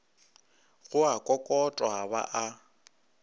go a kokotwa ba a